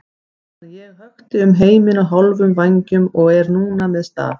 meðan ég hökti um heiminn á hálfum vængjum og er núna með staf.